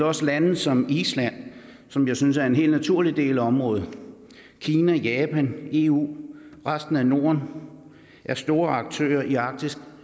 også lande som island som jeg synes er en helt naturlig del af området kina japan eu og resten af norden er store aktører i arktis